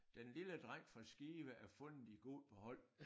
Den lille dreng fra Skive er fundet i god behold